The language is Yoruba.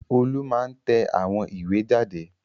Olú máa ń tẹ àwọn ìwé jáde.